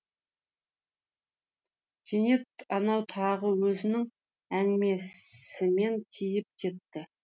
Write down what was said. кенет анау тағы өзінің әңгімесімен киіп кетті